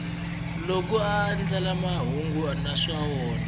loko a andlala mahungu naswona